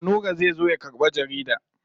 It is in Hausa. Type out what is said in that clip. Nura zai zo ya karɓi jarida.